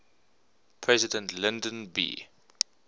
president lyndon b